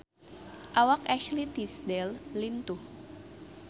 Awak Ashley Tisdale lintuh